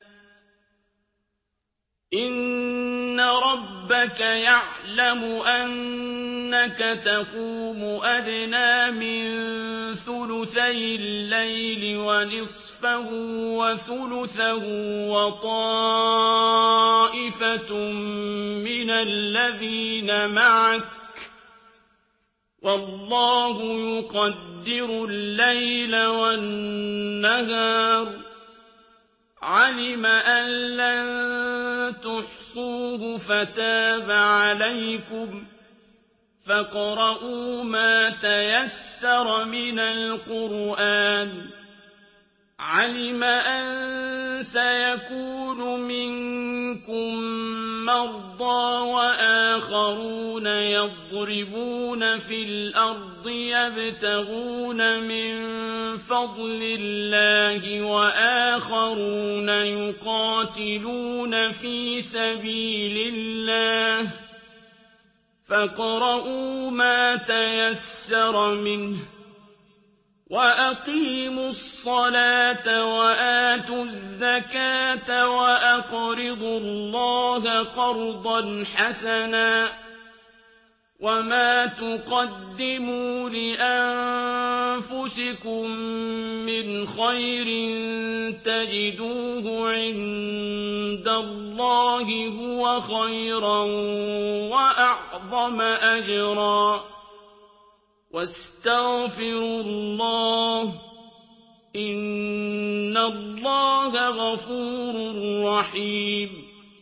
۞ إِنَّ رَبَّكَ يَعْلَمُ أَنَّكَ تَقُومُ أَدْنَىٰ مِن ثُلُثَيِ اللَّيْلِ وَنِصْفَهُ وَثُلُثَهُ وَطَائِفَةٌ مِّنَ الَّذِينَ مَعَكَ ۚ وَاللَّهُ يُقَدِّرُ اللَّيْلَ وَالنَّهَارَ ۚ عَلِمَ أَن لَّن تُحْصُوهُ فَتَابَ عَلَيْكُمْ ۖ فَاقْرَءُوا مَا تَيَسَّرَ مِنَ الْقُرْآنِ ۚ عَلِمَ أَن سَيَكُونُ مِنكُم مَّرْضَىٰ ۙ وَآخَرُونَ يَضْرِبُونَ فِي الْأَرْضِ يَبْتَغُونَ مِن فَضْلِ اللَّهِ ۙ وَآخَرُونَ يُقَاتِلُونَ فِي سَبِيلِ اللَّهِ ۖ فَاقْرَءُوا مَا تَيَسَّرَ مِنْهُ ۚ وَأَقِيمُوا الصَّلَاةَ وَآتُوا الزَّكَاةَ وَأَقْرِضُوا اللَّهَ قَرْضًا حَسَنًا ۚ وَمَا تُقَدِّمُوا لِأَنفُسِكُم مِّنْ خَيْرٍ تَجِدُوهُ عِندَ اللَّهِ هُوَ خَيْرًا وَأَعْظَمَ أَجْرًا ۚ وَاسْتَغْفِرُوا اللَّهَ ۖ إِنَّ اللَّهَ غَفُورٌ رَّحِيمٌ